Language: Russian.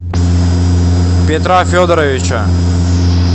петра федоровича